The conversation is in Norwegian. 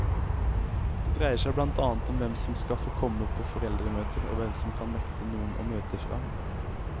Det dreier seg blant annet om hvem som skal få komme på foreldremøter, og hvem som kan nekte noen å møte fram.